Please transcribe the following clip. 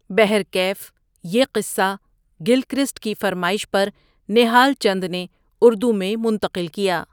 بہرکیف یہ قصہ گل کرسٹ کی فرمایش پر نہال چند نے اردو میں منتقل کیا ۔